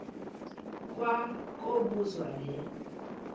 kwa kobuzwa le